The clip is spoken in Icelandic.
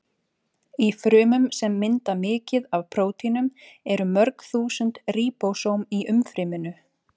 Í frumum sem mynda mikið af prótínum eru mörg þúsund ríbósóm í umfryminu.